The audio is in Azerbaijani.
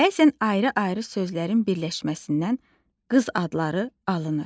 Bəzən ayrı-ayrı sözlərin birləşməsindən qız adları alınır.